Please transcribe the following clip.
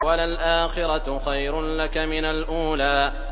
وَلَلْآخِرَةُ خَيْرٌ لَّكَ مِنَ الْأُولَىٰ